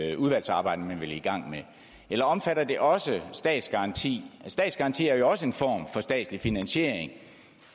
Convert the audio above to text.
i det udvalgsarbejde man vil i gang med eller omfatter det også statsgaranti statsgaranti er jo også en form for statslig finansiering